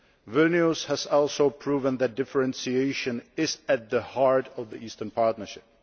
Vilnius has also proven that differentiation is at the heart of the Eastern Partnership.